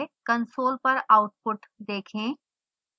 console पर output देखें